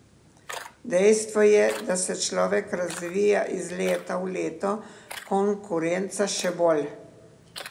Dejstvo je, da se človek razvija iz leta v leto, konkurenca še bolj.